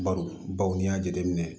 Baro baw n'i y'a jateminɛ